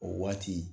O waati